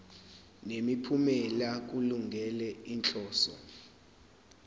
nemiphumela kulungele inhloso